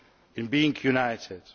in being united.